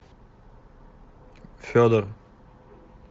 федор